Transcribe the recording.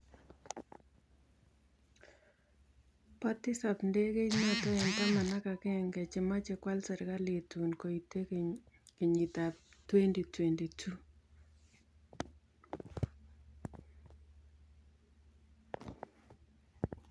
Pa tisaap ndegeit nootok eng' taman ak agenge chemechee kwaal serkaliit tuun koitee kenyiit ap 2022